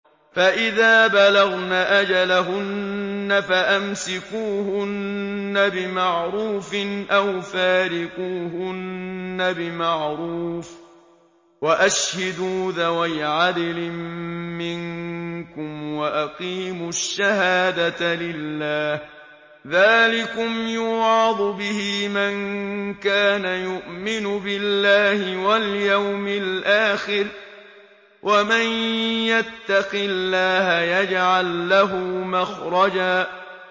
فَإِذَا بَلَغْنَ أَجَلَهُنَّ فَأَمْسِكُوهُنَّ بِمَعْرُوفٍ أَوْ فَارِقُوهُنَّ بِمَعْرُوفٍ وَأَشْهِدُوا ذَوَيْ عَدْلٍ مِّنكُمْ وَأَقِيمُوا الشَّهَادَةَ لِلَّهِ ۚ ذَٰلِكُمْ يُوعَظُ بِهِ مَن كَانَ يُؤْمِنُ بِاللَّهِ وَالْيَوْمِ الْآخِرِ ۚ وَمَن يَتَّقِ اللَّهَ يَجْعَل لَّهُ مَخْرَجًا